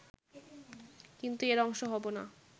কিন্তু এর অংশ হবো না